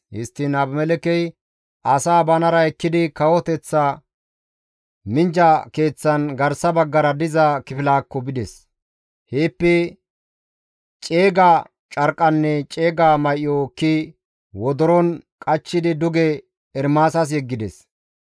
Histtiin Abimelekkey asaa banara ekkidi kawoteththa minjja keeththan garsa baggara diza kifilaakko bides; heeppe ceega carqqanne ceega may7o ekki wodoron qachchidi duge Ermaasas yeggides.